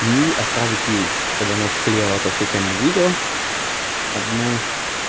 и отправить ей чтобы она склеила эту всю тему в видео одну